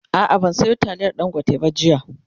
a'a ban Sayo taliyar dangote ba jiya